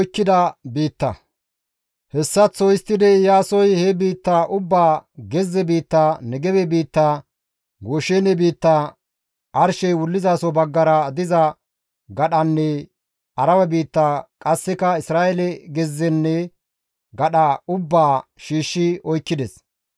Hessaththo histtidi Iyaasoy he biitta ubbaa gezze biitta, Negebe biitta, Gooshene biitta, arshey wullizaso baggara diza gadhanne Arabe biitta qasseka Isra7eele gezzenne gadha ubbaa shiishshi oykkides.